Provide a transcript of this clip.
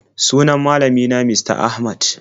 Sunan malami na Mista Ahmad.